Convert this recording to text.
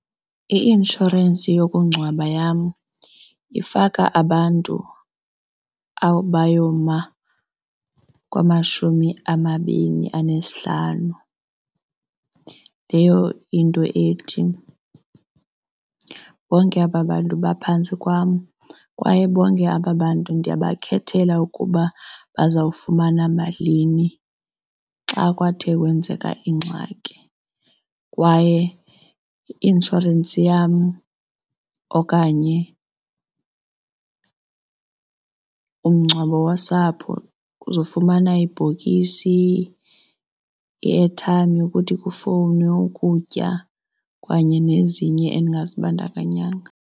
Iinshorensi yokungcwaba yam ifaka abantu abayoma kwamashumi amabini anesihlanu. Leyo into ethi bonke aba bantu baphantsi kwam kwaye bonke aba bantu ndiyabakhethela ukuba bazawufumana malini xa kwathe kwenzeka ingxaki. Kwaye i-inshorensi yam okanye umngcwabo wosapho uzofumana ibhokisi i-airtime yokuthi kufowunwe ukutya kanye nezinye endingazibandakanyanga.